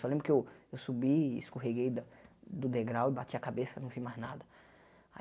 Só lembro que eu eu subi e escorreguei da do degrau e bati a cabeça, não vi mais nada.